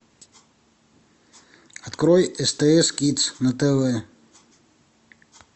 открой стс кидс на тв